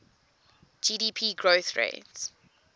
gdp growth rate